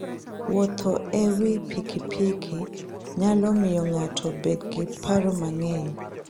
Wuotho e wi pikipiki nyalo miyo ng'ato obed gi paro manyien.